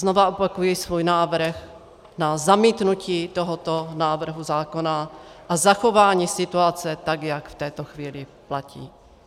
Znovu opakuji svůj návrh na zamítnutí tohoto návrhu zákona a zachování situace tak, jak v této chvíli platí.